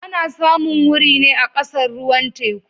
Ana samun wuri ne a kasar ruwan teku